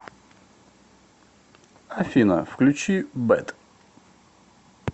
афина включи бэд